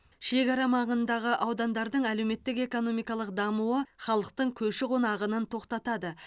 шекара маңындағы аудандардың әлеуметтік экономикалық дамуы халықтың көші қон ағынын тоқтатады